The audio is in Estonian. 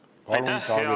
Palun, Taavi Rõivas!